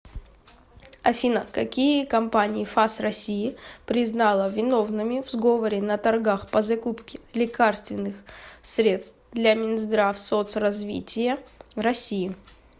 афина какие компании фас россии признала виновными в сговоре на торгах по закупке лекарственных средств для минздравсоцразвития россии